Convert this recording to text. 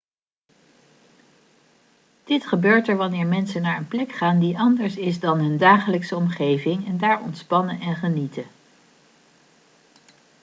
dit gebeurt wanneer mensen naar een plek gaan die anders is dan hun dagelijkse omgeving en daar ontspannen en genieten